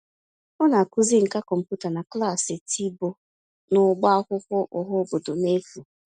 Ọ na-akụzi nkà kọmputa na klaasị tiboh n'ọbá akwụkwọ ọhaobodo n'efu.